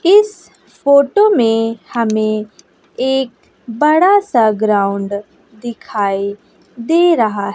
इस फोटो में हमें एक बड़ा सा ग्राउंड दिखाई दे रहा--